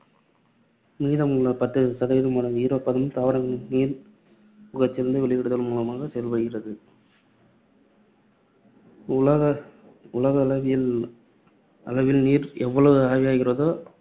மீதமுள்ள பத்து சதவீதம் ஈரப்பதம் தாவரங்களில், நீர் உட்கசிந்து வெளியிடுதல் மூலமாக செயல்படுகிறது. உலகளாவிய அளவில் நீர் எவ்வளவு ஆவியாகிறதோ,